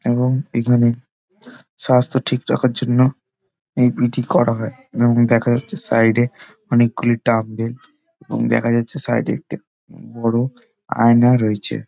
এবং এখানে স্বাস্থ্য ঠিক রাখার জন্য এই পি.টি. করা হয় এবং দেখা যাচ্ছে সাইড এ অনেকগুলি ডাম্বেল এবং দেখা যাচ্ছে সাইড এ একটা বড় আয়না রয়েছে।